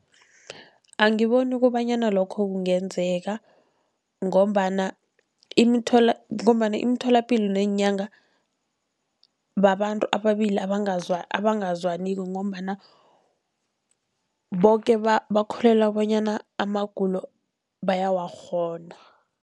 Angiboni kobanyana lokho kungenzeka, ngombana ngombana imitholapilo neenyanga babantu ababili abangazwaniko ngombana boke bakholelwa bonyana amagulo bayawakghona.